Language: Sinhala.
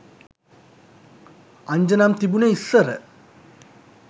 අංජනම් තිබුනේ ඉස්සර